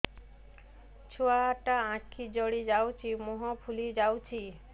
ଛୁଆଟା ଆଖି ଜଡ଼ି ଯାଉଛି ମୁହଁ ଫୁଲି ଯାଉଛି